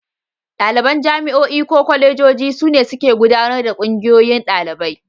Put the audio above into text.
Ɗaliban jami'o'i ko kwalejoji su ne suke gudanar da Ƙungiyoyin Ɗalibai.